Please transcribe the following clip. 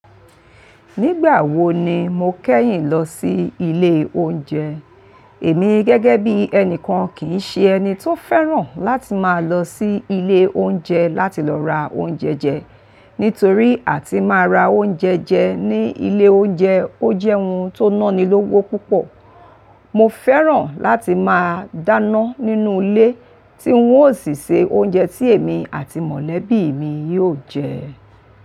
Nígbà wo ni mo kẹ́yìn lọ sí ilé oúnjẹ? Èmi gẹ́gẹ́ bí ẹnìkan kì í ṣe ẹni tó fẹ́ràn láti máa lọ sí ilé oúnjẹ láti lọ ra oúnjẹ jẹ, nítorí àti máa ra oúnjẹ jẹ ní ilé oúnjẹ, ó jẹ́ ohun tó ná ni lówó púpọ̀. Mo fẹ́ràn láti máa dáná nínú ilé tí n ó sì se oúnjẹ tí èmi àti mọ̀lẹ́bí mi yóò jẹ.